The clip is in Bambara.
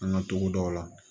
An ka togodaw la